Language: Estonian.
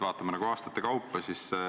Vaatame aastate kaupa.